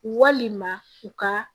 Walima u ka